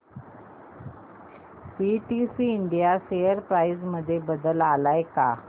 PTC India share price मध्ये बदल आलाय का